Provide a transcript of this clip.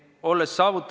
Suur tänu, hea eesistuja!